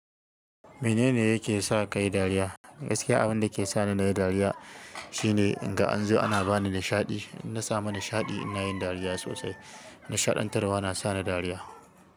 Menene yake sa ka yi dariya? Gaskiya abin da ke sa ni na yi dariya shine in ga an zo ana ba ni nishaɗi. In samu nishaɗi ina yin dariya sosai. Nishaɗantarwa na sa ni dariya.